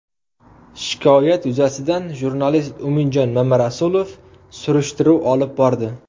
Shikoyat yuzasidan jurnalist Umidjon Mamarasulov surishtiruv olib bordi.